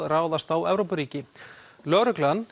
ráðast á Evrópuríki lögreglan